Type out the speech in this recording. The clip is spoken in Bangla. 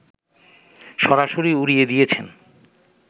সরাসরি উড়িয়ে দিয়েছেন